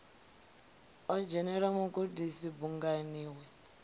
o dzhenela mugudisi bungani lwe